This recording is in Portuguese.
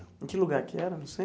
Em que lugar que era no